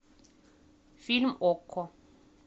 фильм окко